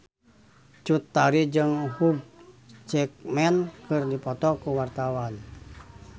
Cut Tari jeung Hugh Jackman keur dipoto ku wartawan